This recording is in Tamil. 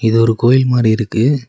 இது ஒரு கோயில் மாரி இருக்கு